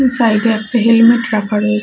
side এ একটা helmet রাখা রয়ে--